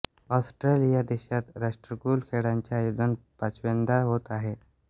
Australia देशात राष्ट्रकुल खेळांचे आयोजन पाचव्यांदा होत आहे